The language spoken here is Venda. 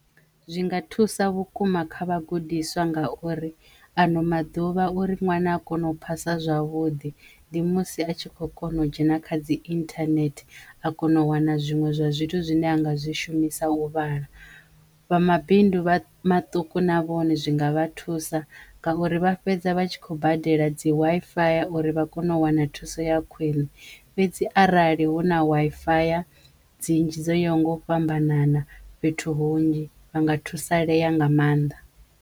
Zwi nga thusa vhukuma kha vhagudiswa ngauri ano maḓuvha uri ṅwana a kono u phasa zwavhuḓi ndi musi a tshi kho kona u dzhena kha dzi internet a kono u wana zwiṅwe zwa zwithu zwine a nga zwi shumisa u vhala. Vha mabindu maṱuku na vhone zwi nga vha thusa ngauri vha fhedza vha tshi khou badela dzi waifaya uri vha kono u wana thuso ya khwine fhedzi arali hu na waifaya dzinzhi dzo yaho nga u fhambanana fhethu hunzhi vha nga thusalea nga mannḓa.